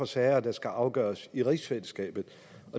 sager der skal afgøres i rigsfællesskabet